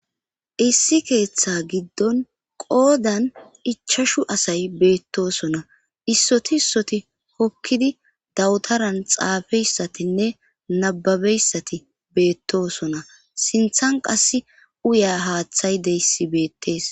Issi keeththa giddon qoodan ichashu asay beettosona issoti issoti hokkidi dawutaran xaafeyssatinne nababeyssati beettosona sinthan qas uya haaththay deyssi beettees